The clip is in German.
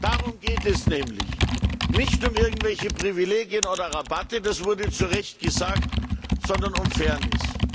Darum geht es nämlich. Nicht um irgendwelche Privilegien oder Rabatte das wurde zu Recht gesagt sondern um Fairness.